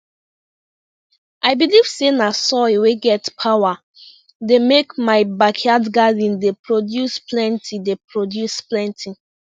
i believe say na soil wey get power dey make my backyard garden dey produce plenty dey produce plenty